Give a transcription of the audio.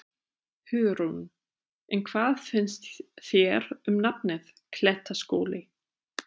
Hugrún: En hvað finnst þér um nafnið, Klettaskóli?